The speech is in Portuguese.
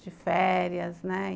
De férias, né?